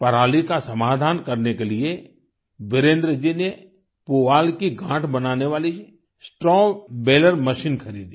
पराली का समाधान करने के लिए वीरेन्द्र जी ने पुआल की गांठ बनाने वाली स्ट्रॉ बालेर मशीन खरीदी